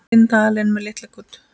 Linda alein með litla kút.